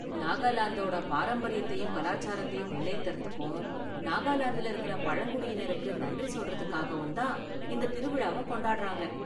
நாகாலாந்தோட பாரம்பரியத்தையும் கலாச்சாரத்தையும் முன்னேத்துறதுக்கும், நாகாலாந்துல இருக்குற பழங்குடியினருக்கு நன்றி சொல்றதுக்காகவும் தான் இந்த திருவிழாவ கொண்டாடுறாங்க.